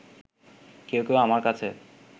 কেউ কেউ আমার কাছে